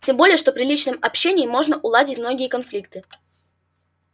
тем более что при личном общении можно уладить многие конфликты